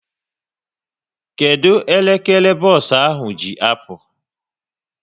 Kedụ elekere bos ahụ ji apụ?